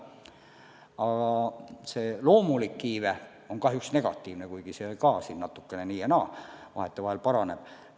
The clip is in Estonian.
Aga loomulik iive on kahjuks negatiivne, kuigi see ka vahetevahel paraneb.